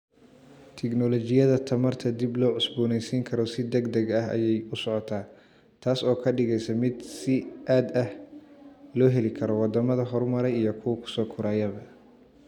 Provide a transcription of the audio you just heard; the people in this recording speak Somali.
Tignoolajiyada tamarta dib loo cusboonaysiin karo si degdeg ah ayay u socotaa, taas oo ka dhigaysa mid si aad ah loo heli karo waddamada horumaray iyo kuwa soo korayaba.